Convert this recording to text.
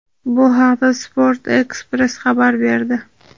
Bu haqda "Sport ekspress" xabar berdi.